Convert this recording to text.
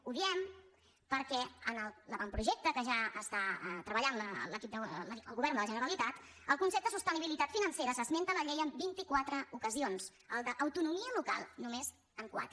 ho diem perquè en l’avant·projecte que ja està treballant el govern de la genera·litat el concepte sostenibilitat financera s’esmenta a la llei en vint·i·quatre ocasions el d’ autonomia lo·cal només en quatre